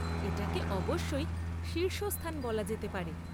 এটাকে অবশ্যই শীর্ষস্থান বলা যেতে পারে।